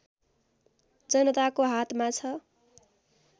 जनताको हातमा छ